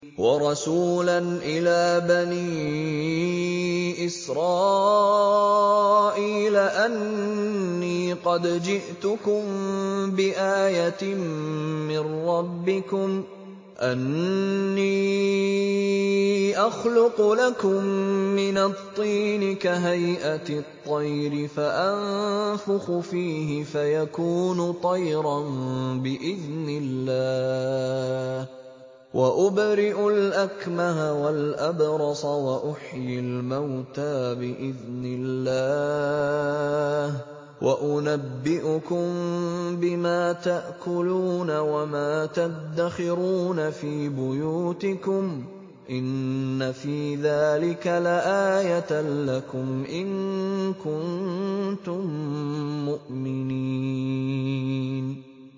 وَرَسُولًا إِلَىٰ بَنِي إِسْرَائِيلَ أَنِّي قَدْ جِئْتُكُم بِآيَةٍ مِّن رَّبِّكُمْ ۖ أَنِّي أَخْلُقُ لَكُم مِّنَ الطِّينِ كَهَيْئَةِ الطَّيْرِ فَأَنفُخُ فِيهِ فَيَكُونُ طَيْرًا بِإِذْنِ اللَّهِ ۖ وَأُبْرِئُ الْأَكْمَهَ وَالْأَبْرَصَ وَأُحْيِي الْمَوْتَىٰ بِإِذْنِ اللَّهِ ۖ وَأُنَبِّئُكُم بِمَا تَأْكُلُونَ وَمَا تَدَّخِرُونَ فِي بُيُوتِكُمْ ۚ إِنَّ فِي ذَٰلِكَ لَآيَةً لَّكُمْ إِن كُنتُم مُّؤْمِنِينَ